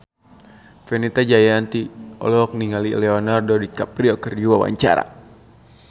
Fenita Jayanti olohok ningali Leonardo DiCaprio keur diwawancara